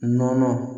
Nɔnɔ